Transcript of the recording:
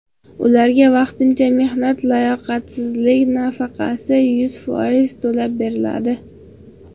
Ularga vaqtincha mehnatga layoqatsizlik nafaqasi yuz foiz to‘lab beriladi.